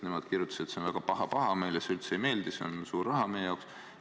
Nemad kirjutasid, et see on väga paha-paha, meile see üldse ei meeldi, see on suur raha meie jaoks.